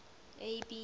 abby